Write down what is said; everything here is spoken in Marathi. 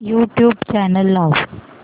यूट्यूब चॅनल लाव